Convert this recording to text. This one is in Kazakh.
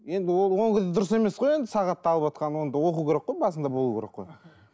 енді ол ол кезде дұрыс емес қой енді сағатты алыватқан оның да оқу керек қой басында болу керек қой